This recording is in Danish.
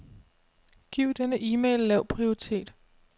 Giv denne e-mail lav prioritet.